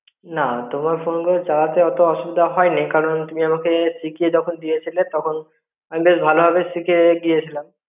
না তোমার ফোনগুলো চালাতে অত অসুবিধে হয়নি কারণ তুমি আমাকে সিকিয়ে যখন দিয়েচিলে তখন আমি বেশ ভালো ভাবে শিখে গিয়ে ছিলাম.